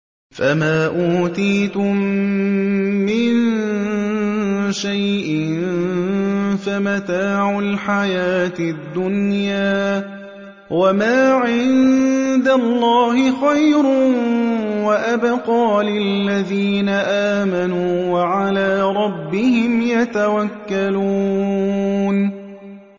فَمَا أُوتِيتُم مِّن شَيْءٍ فَمَتَاعُ الْحَيَاةِ الدُّنْيَا ۖ وَمَا عِندَ اللَّهِ خَيْرٌ وَأَبْقَىٰ لِلَّذِينَ آمَنُوا وَعَلَىٰ رَبِّهِمْ يَتَوَكَّلُونَ